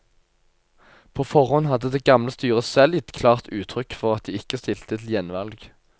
På forhånd hadde det gamle styret selv gitt klart uttrykk for at de ikke stilte til gjenvalg.